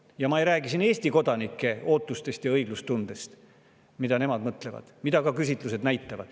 Ja ma ei räägi siin Eesti kodanike ootustest ja õiglustundest, mida nemad mõtlevad, mida ka küsitlused näitavad.